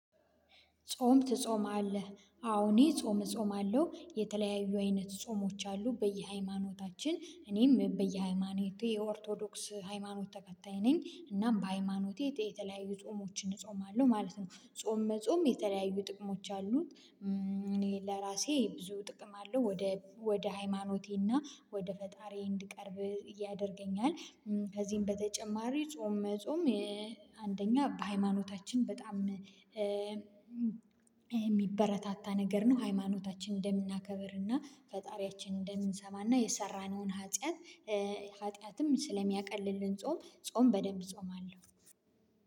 ጾም ትጾማለህ አዎ እኔ ጾም እጾማለሁ የተለያዩ አይነት ጾሞች አሉ በየሃይማኖታችን እኔም በየሃይማኖቴ የኦርቶዶክስ ሃይማኖት ተከታይ ነኝ እናም በሃይማኖቴ የተለያዩ ጾሞችን እጾማለሁ ማለት ነው ጾም መጾም የተለያዩ ጥቅሞች አሉት። ለራሴ ብዙ ጥቅም አለው ወደ ወደ ሃይማኖቴና ወደ ፈጣሪዬ እንድቀርብ እያደርገኛል። ከዚህም በተጨማሪ ጾም መጾም አንደኛ በሃይማኖታችን በጣም የሚበረታታ ነገር ነው። ሃይማኖታችን እንደምናከብርና ፈጣሪያችን እንደምንሰማና የሰራነውን ሀጥያት ሀጥያትም ስለሚያቀልልን ጾም ጾም በደንብ እጾማለሁ።